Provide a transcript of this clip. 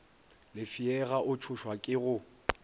lefšega o tšhošwa ke go